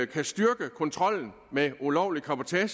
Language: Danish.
kan styrke kontrollen med ulovlig cabotage